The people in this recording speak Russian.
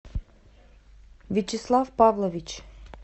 вячеслав павлович